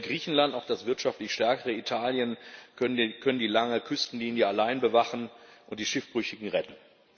Weder Griechenland noch das wirtschaftlich stärkere Italien können die lange Küstenlinie allein bewachen und die Schiffbrüchigen retten.